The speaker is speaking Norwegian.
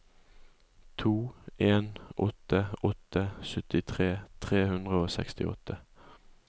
to en åtte åtte syttitre tre hundre og sekstiåtte